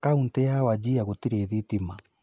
Kauti ya Wajir gũtirĩ thitima